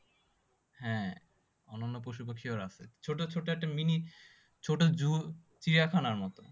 হ্যাঁ অন্যন্য পশুপাখি রাও আছে ছোটো ছোটো একটা mini ছোটো zoo চিড়িখানার মতো